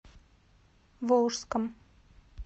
волжском